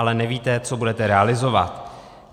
Ale nevíte, co budete realizovat.